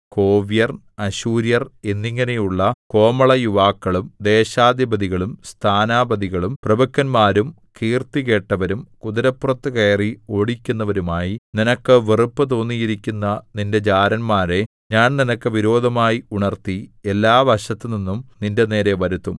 കോവ്യർ അശ്ശൂര്യർ എന്നിങ്ങനെയുള്ള കോമളയുവാക്കളും ദേശാധിപതികളും സ്ഥാനാപതികളും പ്രഭുക്കന്മാരും കീർത്തികേട്ടവരും കുതിരപ്പുറത്തു കയറി ഓടിക്കുന്നവരുമായി നിനക്ക് വെറുപ്പു തോന്നിയിരിക്കുന്ന നിന്റെ ജാരന്മാരെ ഞാൻ നിനക്ക് വിരോധമായി ഉണർത്തി എല്ലാവശത്തുനിന്നും നിന്റെനേരെ വരുത്തും